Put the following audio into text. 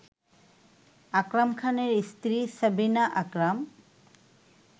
আকরাম খানের স্ত্রী সাবিনা আকরাম